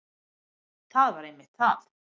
Það var einmitt það.